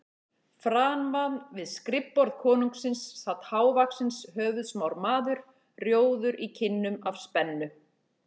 Framan við skrifborð konungsins sat hávaxinn höfuðsmár maður, rjóður í kinnum af spennu.